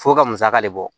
F'o ka musaka de bɔ